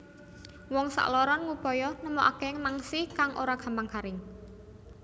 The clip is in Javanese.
Wong sakloron ngupaya nemokake mangsi kang ora gampang garing